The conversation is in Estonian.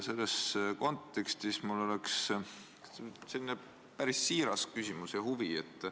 Selles kontekstis on mul selline päris siiras küsimus.